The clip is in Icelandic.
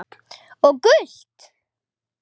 Og gult?